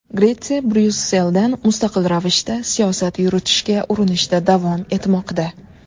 Gretsiya Bryusseldan mustaqil ravishda siyosat yuritishga urinishda davom etmoqda.